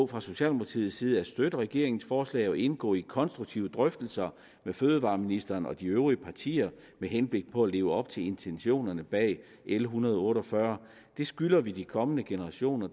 fra socialdemokratiets side at støtte regeringens forslag og indgå i konstruktive drøftelser med fødevareministeren og de øvrige partier med henblik på at leve op til intentionerne bag l en hundrede og otte og fyrre vi skylder de kommende generationer